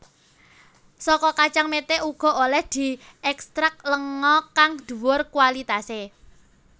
Saka kacang mete uga olèh diekstrak lenga kang dhuwur kualitasé